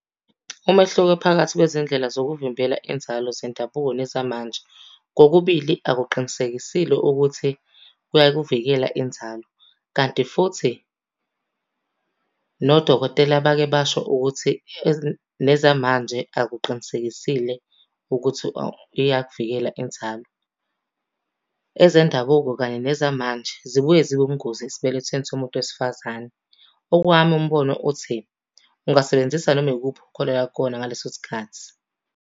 Umehluko phakathi kwezindlela zokuvimbela inzalo zendabuko nezamanje. Kokubili akuqinisekisile ukuthi kuyakuvikela inzalo, kanti futhi nodokotela bake basho ukuthi nezamanje akuqinisekisile ukuthi iyakuvikela inzalo. Ezendabuko kanye nezamanje zibuye zibe ubungozi esibelethweni somuntu wesifazane. Owami umbono uthi, ungasebenzisa noma ikuphi okholelwa kukona ngaleso sikhathi.